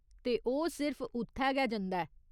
ते ओह् सिर्फ उत्थै गै जंदा ऐ।